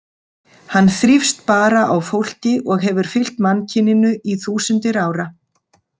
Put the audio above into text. Hann þrífst bara á fólki og hefur fylgt mannkyninu í þúsundir ára.